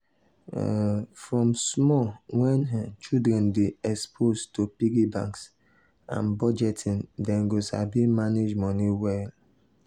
um from small wen um children dey exposed to piggy banks and budgeting dem go sabi manage moni well.